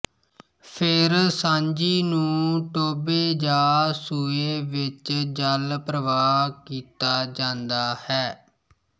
ਫਿਰ ਸਾਂਝੀ ਨੂੰ ਟੋਭੇ ਜਾ ਸੂਏ ਵਿੱਚ ਜਲ ਪ੍ਰਵਾਹ ਕੀਤਾ ਜਾਂਦਾ ਹੈ